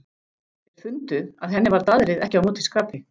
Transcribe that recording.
Þeir fundu að henni var daðrið ekki á móti skapi.